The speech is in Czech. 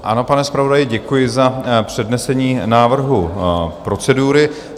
Ano, pane zpravodaji, děkuji za přednesení návrhu procedury.